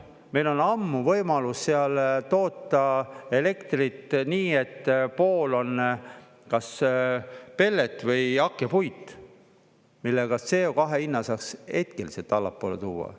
Meil on ammu võimalus seal toota elektrit, nii et pool on kas pellet või hakkepuit, millega CO2 hinna saaks hetkeliselt allapoole tuua.